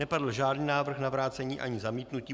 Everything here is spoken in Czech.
Nepadl žádný návrh na vrácení ani zamítnutí.